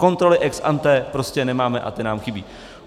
Kontroly ex ante prostě nemáme a ty nám chybějí.